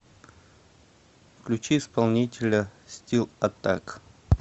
включи исполнителя стил аттак